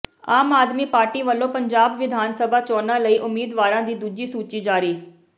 ਆਮ Aadmi party ਵੱਲੋਂ ਪੰਜਾਬ ਵਿਧਾਨ ਸਭਾ ਚੋਣਾਂ ਲਈ ਉਮੀਦਵਾਰਾਂ ਦੀ ਦੂਜੀ ਸੂਚੀ ਜਾਰੀ